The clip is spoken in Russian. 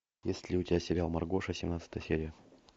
есть ли у тебя сериал маргоша семнадцатая серия